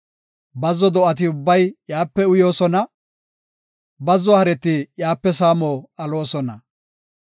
Bazzo do7ati ubbay iyape uyoosona; bazzo hareti iyape saamo aloosona.